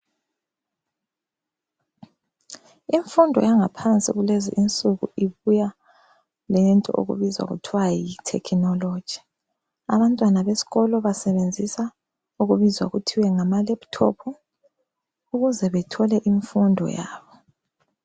Imfundo yangaphansi lez'isuku ibuye lento okubizwa kuthiwa yithekinoloji. Abantwana besikolo basebenzisa okubizwa kuthiwe ngama laphuthophu, okuze bathole imfundo yabo.